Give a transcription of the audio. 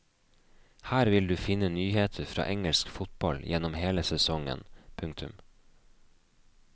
Her vil du finne nyheter fra engelsk fotball gjennom hele sesongen. punktum